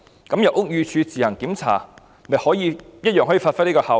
那麼由屋宇署自行檢查，同樣可以發揮這個效果。